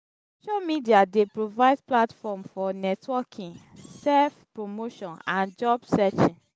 social media dey provide platform for networking self-promotion and job searching.